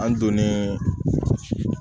An donnen